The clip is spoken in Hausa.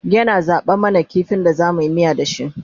yana zaɓa mana kifin da zamuyi miya da shi